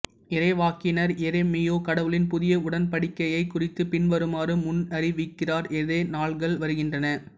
இறைவாக்கினர் எரேமியா கடவுளின் புதிய உடன்படிக்கையைக் குறித்து பின்வருமாறு முன்னறிவிக்கிறார் இதோ நாள்கள் வருகின்றன